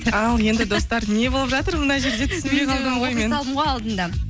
ал енді достар не болып жатыр мына жерде түсінбей